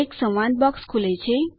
એક સંવાદ બોક્સ ખુલે છે